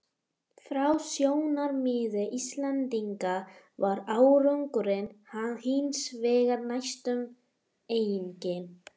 Frá sjónarmiði Íslendinga var árangurinn hins vegar næstum enginn.